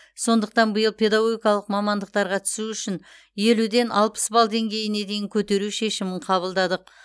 сондықтан биыл педагогикалық мамандықтарға түсу үшін елуден алпыс балл деңгейіне дейін көтеру шешімін қабылдадық